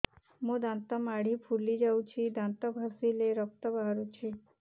ମୋ ଦାନ୍ତ ମାଢି ଫୁଲି ଯାଉଛି ଦାନ୍ତ ଘଷିଲେ ରକ୍ତ ବାହାରୁଛି